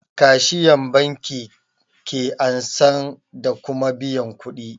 Kashiyan banki ke ansan da kuma biyan kuɗi